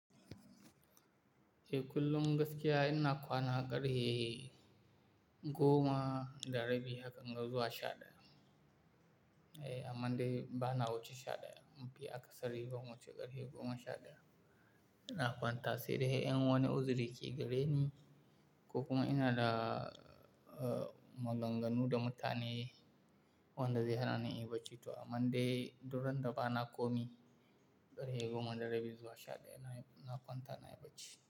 Eh kullum gaskiya ina kwana ƙarfe goma da rabi hakanga zuwa shaɗaya. Eh, aman dai bana wuce shaɗaya. Mun fi akasari ban wuce ƙarfe goma shaɗaya. Ina kwanta sai dai in wane uzuri ke gareni ko kuma ina da, uh, maganganu da matane wanda zai hana ni in baci to Aman dai, du randa bana komai, ƙarfe goma da rabi zuwa shaɗaya na kwanta nayi bacci.